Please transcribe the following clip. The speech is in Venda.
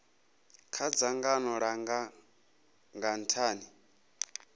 kha dzangano langa nga nthani